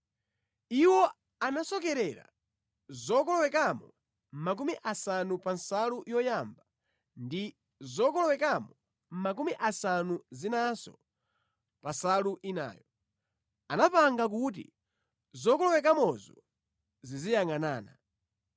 Iwo anasokerera zokolowekamo makumi asanu pa nsalu yoyamba ndi zokolowekamo makumi asanu zinanso pa nsalu inayo. Anapanga kuti zokolowekamozo ziziyangʼanana.